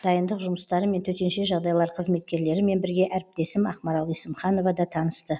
дайындық жұмыстарымен төтенше жағдайлар қызметкерлерімен бірге әріптесім ақмарал есімханова да танысты